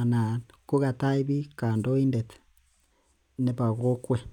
anan kukatach bik kandoindet nebo kokwet